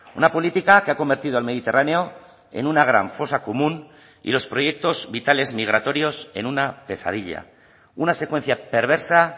una política que ha convertido el mediterráneo en una gran fosa común y los proyectos vitales migratorios en una pesadilla una secuencia perversa